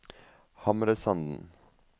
Hamresanden